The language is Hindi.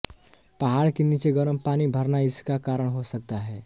पहाड़ के नीचे गर्म पानी भरना इसका कारण हो सकता है